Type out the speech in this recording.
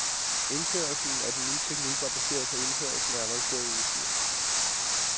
Indførelsen af den nye teknik var baseret på indførslen af avanceret udstyr.